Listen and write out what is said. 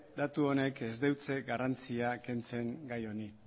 datu honek ez dio garrantzia kentzen gai honi